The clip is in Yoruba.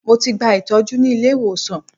Mo ti gba ìtọ́jú ní ilé-ìwòsàn